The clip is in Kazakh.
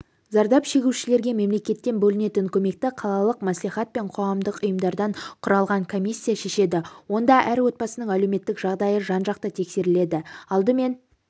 зардап шегушілерге мемлекеттен бөлінетін көмекті қалалық мәслихат пен қоғамдық ұйымдардан құралған комиссия шешеді онда әр отбасының әлеуметтік жағдайы жан-жақты тексеріледі алдымен